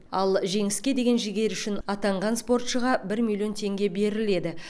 ал жеңіске деген жігері үшін атанған спортшыға бір миллион теңге беріледі